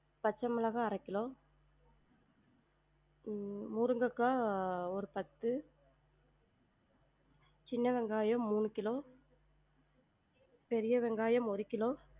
பச்சமெளகா அரை கிலோ உம் முருங்கக்கா ஒரு பத்து சின்ன வெங்காயம் மூணு கிலோ பெரிய வெங்காயம் ஒரு கிலோ